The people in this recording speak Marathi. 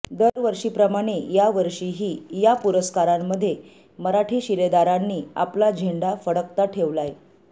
दरवर्षीप्रमाणे यावर्षीही या पुरस्कारांमध्ये मराठी शिलेदारांनी आपला झेंडा फडकता ठेवलाय